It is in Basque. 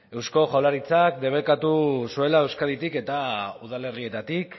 eusko jaurlaritzak debekatu zuela euskaditik eta udalerrietatik